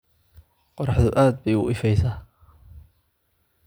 Qorraxdu aad bay u ifaysaa.